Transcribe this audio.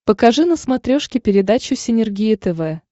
покажи на смотрешке передачу синергия тв